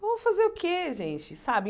Vamos fazer o que, gente, sabe?